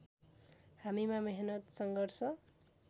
हामीमा मेहनत सङ्घर्ष